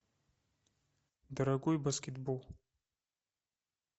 дорогой баскетбол